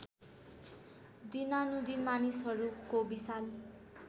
दिनानुदिन मानिसहरूको विशाल